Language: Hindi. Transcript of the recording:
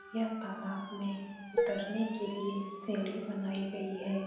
यह तालाब में उतरने के लिए सीढ़ी बनाई गयी है ।